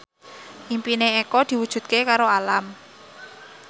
impine Eko diwujudke karo Alam